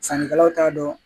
Sannikɛlaw t'a dɔn